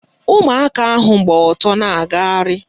Ụmụaka ahụ gba ọtọ na-agagharị